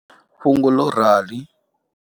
Fhungo ḽo rali.